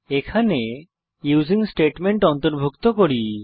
এখানে using statement অন্তর্ভুক্ত করি